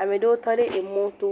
ame ɖewo tɔ ɖe emɔ to.